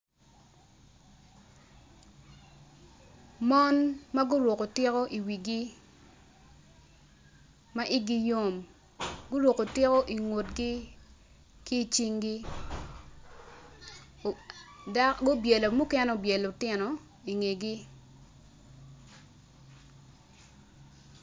Mon ma guruko tiko iwigi ma igi yom guruko tiko ingutgi ki icinggi mukene obyelo lutino i ngegi.